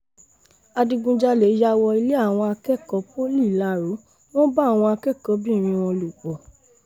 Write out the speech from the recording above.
adigunjalè yà wọ ilé àwọn akẹ́kọ̀ọ́ poli ilárò wọn bá àwọn akẹ́kọ̀ọ́-bìnrin wọn lò pọ̀